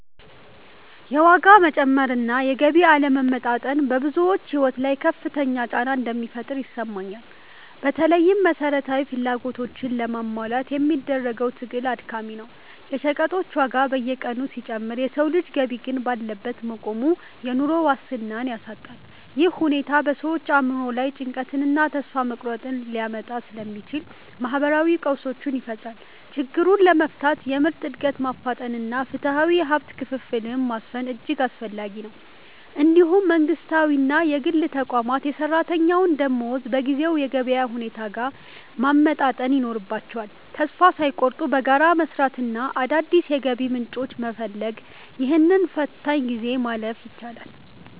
የዋጋ መጨመር እና የገቢ አለመመጣጠን በብዙዎች ሕይወት ላይ ከፍተኛ ጫና እንደሚፈጥር ይሰማኛል። በተለይም መሠረታዊ ፍላጎቶችን ለማሟላት የሚደረገው ትግል አድካሚ ነው። የሸቀጦች ዋጋ በየቀኑ ሲጨምር የሰው ልጅ ገቢ ግን ባለበት መቆሙ፣ የኑሮ ዋስትናን ያሳጣል። ይህ ሁኔታ በሰዎች አእምሮ ላይ ጭንቀትንና ተስፋ መቁረጥን ሊያመጣ ስለሚችል፣ ማኅበራዊ ቀውሶችን ይፈጥራል። ችግሩን ለመፍታት የምርት ዕድገትን ማፋጠንና ፍትሐዊ የሀብት ክፍፍልን ማስፈን እጅግ አስፈላጊ ነው። እንዲሁም መንግሥታዊና የግል ተቋማት የሠራተኛውን ደመወዝ በጊዜው የገበያ ሁኔታ ጋር ማመጣጠን ይኖርባቸዋል። ተስፋ ሳይቆርጡ በጋራ በመሥራትና አዳዲስ የገቢ ምንጮችን በመፈለግ፣ ይህንን ፈታኝ ጊዜ ማለፍ ይቻላል።